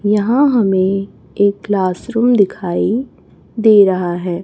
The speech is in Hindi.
यहां हमें एक क्लास रूम दिखाई दे रहा है।